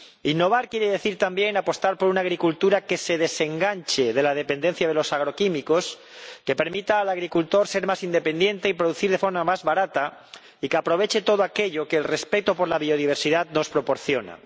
Innovar quiere decir, también, apostar por una agricultura que se desenganche de la dependencia de los agroquímicos, que permita al agricultor ser más independiente y producir de forma más barata y que aproveche todo aquello que el respeto por la biodiversidad nos proporciona.